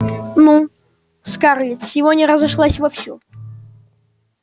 ну скарлетт сегодня разошлась вовсю